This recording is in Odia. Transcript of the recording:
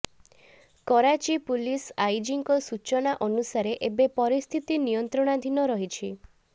କରାଚୀ ପୁଲିସ ଆଇଜିଙ୍କ ସୂଚନା ଅନୁସାରେ ଏବେ ପରିସ୍ଥିତି ନିୟନ୍ତ୍ରଣାଧୀନ ରହିଛି